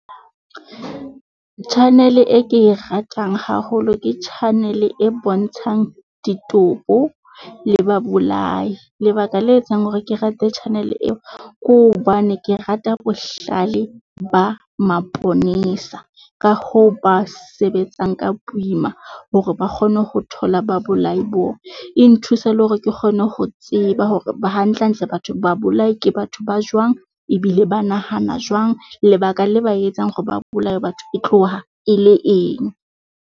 Channel-e e ke e ratang haholo ke channel-e e bontshang ditopo le babolai. Lebaka le etsang hore ke rate channel-e eo, ke hobane ke rata bohlale ba maponesa ka hoo ba sebetsang ka boima hore ba kgone ho thola babolai boo. E nthusa le hore ke kgone ho tseba hore hantlentle batho ba bolai ke batho ba jwang, ebile ba nahana jwang. Lebaka le ba etsang hore ba bolaye batho e tloha e le eng.